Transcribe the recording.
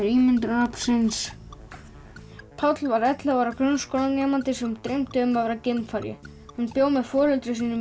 ímyndunaraflsins Páll var ellefu ára grunnskólanemandi sem dreymdi um að vera geimfari hann bjó með foreldrum sínum